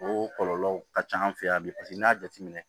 O kɔlɔlɔ ka ca an fɛ yan bi paseke n'i y'a jateminɛ